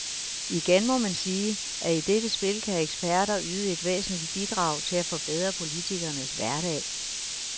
Igen må man sige, at i dette spil kan eksperter yde et væsentligt bidrag til at forbedre politikernes hverdag.